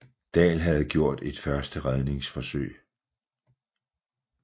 Dahl havde gjort et første redningsforsøg